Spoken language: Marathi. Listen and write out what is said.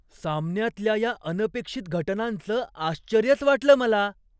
सामन्यातल्या या अनपेक्षित घटनांचं आश्चर्यच वाटलं मला.